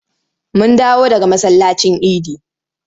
Mun dawo daga masallacin idi.